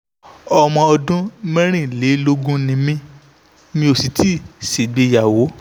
ọmọ ọdún mẹ́rìnlélógún ni mí mi ò sì tíì ṣègbéyàwó